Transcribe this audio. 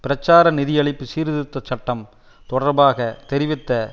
பிரச்சார நிதியளிப்பு சீர்திருத்த சட்டம் தொடர்பாக தெரிவித்த